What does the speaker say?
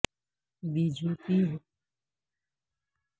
be J P حکومت پر اہم مسئلوں سے توجہ ہٹانے کا الزام